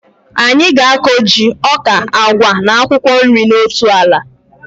Anyị ga-akọ ji, ọka, agwa na akwụkwọ nri na otu ala